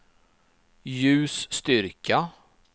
ljusstyrka